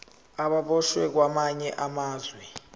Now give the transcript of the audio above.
ababoshwe kwamanye amazwe